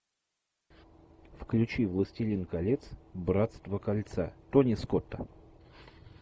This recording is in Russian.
включи властелин колец братство кольца тони скотта